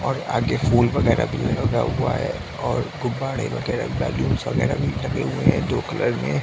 और आगे फूल वगेरा भी लगा हुआ है और गुब्बारे वागेरा बलूनस वागेरा भी लगा हुआ है दो कलर में।